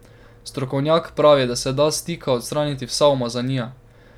Strokovnjak pravi ,da se da s tika odstraniti vsa umazanija.